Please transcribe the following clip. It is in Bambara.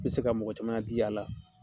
N bi se ka mɔgɔ caman di la.